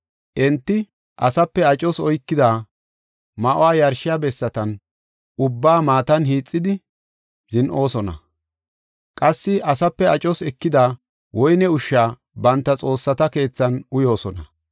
Enti asape acos oykida ma7uwa yarshiya bessatan ubbaa matan hiixidi, zin7oosona; qassi asape acos ekida woyne ushsha banta xoossata keethan uyoosona.